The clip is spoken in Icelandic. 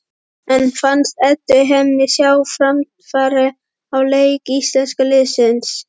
En fannst Eddu henni sjá framfarir á leik íslenska liðsins?